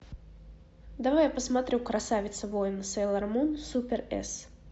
давай я посмотрю красавица воин сейлормун супер эс